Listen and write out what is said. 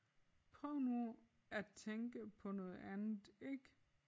Prøv nu at tænke på noget andet ik